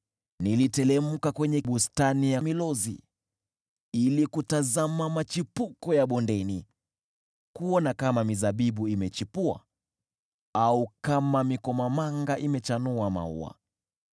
Niliteremka kwenye bustani ya miti ya milozi ili kutazama machipuko ya bondeni, kuona kama mizabibu imechipua au kama mikomamanga imechanua maua.